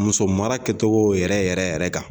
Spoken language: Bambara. Muso mara kɛcogo yɛrɛ yɛrɛ yɛrɛ kan